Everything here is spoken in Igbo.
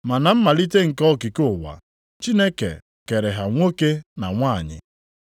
Ma na mmalite nke okike ụwa, Chineke ‘kere ha nwoke na nwanyị.’ + 10:6 \+xt Jen 1:27\+xt*